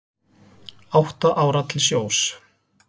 Átta ára til sjós